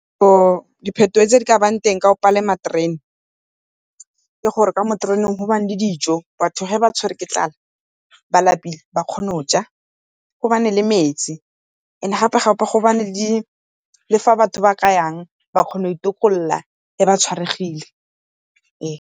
Diphetogo tse di ka ba teng ka go palama terene ke gore ka mo tereneng go bane dijo, batho ga ba tshwere ke tlala ba lapile ba kgone go ja, go ba ne le metsi and-e gape-gape go bane le fa batho ba ka yang ba kgone go itokolla ge ba tshwaregile .